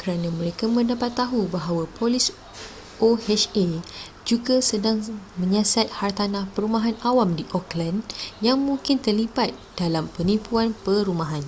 kerana mereka mendapat tahu bahawa polis oha juga sedang menyiasat hartanah perumahan awam di oakland yang mungkin terlibat dalam penipuan perumahan